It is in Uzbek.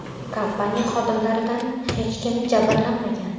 Kompaniya xodimlaridan hech kim jabrlanmagan.